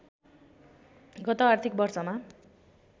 गत आर्थिक वर्षमा